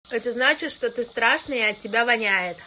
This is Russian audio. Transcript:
это значит что ты страшный и от тебя воняет